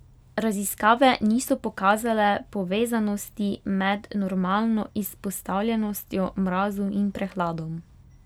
Raziskave niso pokazale povezanosti med normalno izpostavljenostjo mrazu in prehladom.